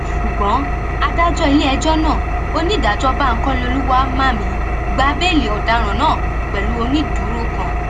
ṣùgbọn adájọ iléẹjọ náà onídàájọ bankole olùwáḿàmì gba béèlì ọdaràn náà pẹlú onídùúró kan